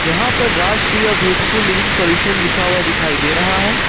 यहां पर Rajshri beautiful living solution लिखा हुआ दिखाई दे रहा है।